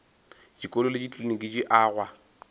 dikolo le dikliniki di agwa